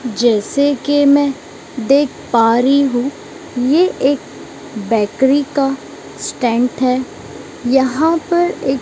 जैसे के मैं देख पा रही हूं यह एक बेकरी का स्टैंड है यहां पर एक--